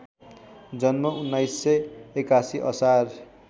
जन्म १९८१ असार